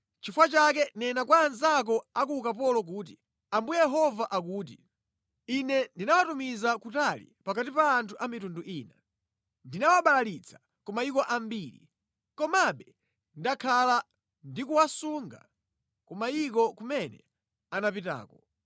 “Nʼchifukwa chake nena kwa anzako a ku ukapolo kuti, ‘Ambuye Yehova akuti: Ine ndinawatumiza kutali pakati pa anthu a mitundu ina. Ndinawabalalitsa ku mayiko ambiri. Komabe ndakhala ndikuwasunga ku mayiko kumene anapitako!’